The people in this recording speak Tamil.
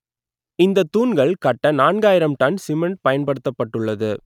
இந்த தூண்கள் கட்ட நான்காயிரம் டன் சிமெண்ட் பயன்படுத்தப்பட்டது